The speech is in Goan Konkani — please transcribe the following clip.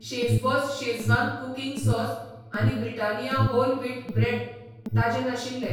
शेफबॉस शेझवान कुकिंग सॉस आनी ब्रिटानिया होल व्हीट ब्रेड ताजे नाशिल्ले.